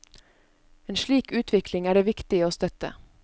En slik utvikling er det viktig å støtte.